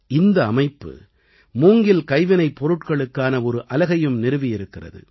இந்த அமைப்பு மூங்கில் கைவினைப்பொருட்களுக்கான ஒரு அலகையும் நிறுவியிருக்கிறது